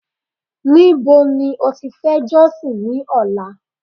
níbo ni o ti fe josin ni ọlá